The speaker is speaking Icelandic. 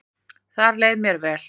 Þar leið mér vel